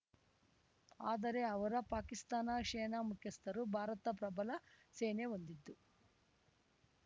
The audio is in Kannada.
ಆದರೆ ಅವರ ಪಾಕಿಸ್ತಾನ ಸೇನಾ ಮುಖ್ಯಸ್ಥರು ಭಾರತ ಪ್ರಬಲ ಸೇನೆ ಹೊಂದಿದ್ದು